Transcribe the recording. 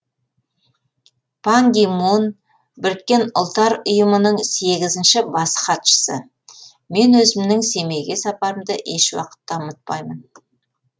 пан ги мун біріккен ұлттар ұйымының сегізінші бас хатшысы мен өзімнің семейге сапарымды еш уақытта ұмытпаймын